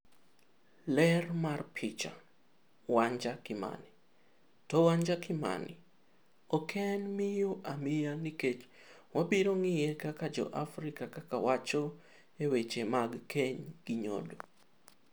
Ler mar picha, Wanja Kimani. To Wanja Kimani - ok en miyo amiya nikech wabiro ng'iye kak jo Afrika kak wacho e weche mag keny gi nyodo.